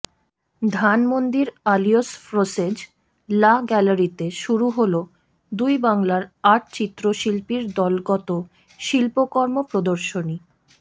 ধানমণ্ডির Alliance Francaise La গ্যালারিতে শুরু হলো দুই বাংলার আট চিত্রশিল্পীর দলগত শিল্পকর্ম প্রদর্শনী